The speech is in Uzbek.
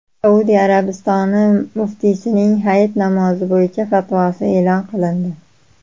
Saudiya Arabistoni muftiysining Hayit namozi bo‘yicha fatvosi e’lon qilindi.